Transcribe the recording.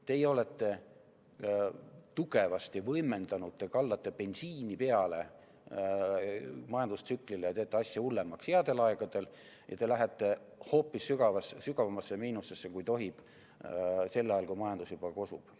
Teie olete tugevasti võimendanud, te kallate bensiini peale majandustsüklile, teete asja hullemaks headel aegadel ja lähete hoopis sügavamasse miinusesse, kui tohib, sel ajal, kui majandus juba kosub.